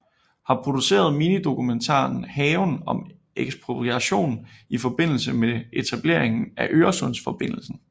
Har produceret minidokumentaren Haven om ekspropriation i forbindelse med etableringen af Øresundsforbindelsen